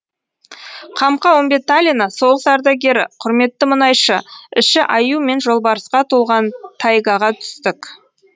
қамқа үмбеталина соғыс ардагері құрметті мұнайшы іші аю мен жолбарысқа толған тайгаға түстік